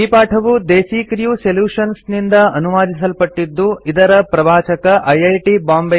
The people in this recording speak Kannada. ಈ ಪಾಠವು ದೇಸೀ ಕ್ರ್ಯೂ ಸೊಲ್ಯುಶನ್ಸ್ ನಿಂದ ಅನುವಾದಿಸಲ್ಪಟ್ಟಿದ್ದು ಇದರ ಪ್ರವಾಚಕ ಐಐಟಿ